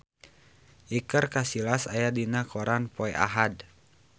Iker Casillas aya dina koran poe Ahad